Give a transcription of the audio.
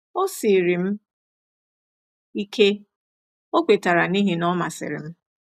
“O siiri m ike, ” O kwetara, “n’ihi na Ọ masịrị m.